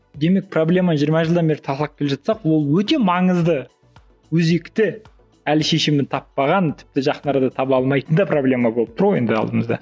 демек проблема жиырма жылдан бері талқылап келе жатсақ ол өте маңызды өзекті әлі шешімін таппаған тіпті жақын арада таба алмайтын да проблема болып тұр ғой енді алдымызда